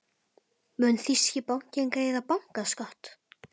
Mun þýski bankinn greiða bankaskatt?